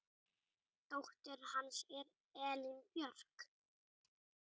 Dóttir hans er Elín Björk.